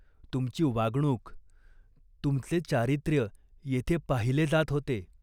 तुमची वागणूक, तुमचे चारित्र्य येथे पाहिले जात होते.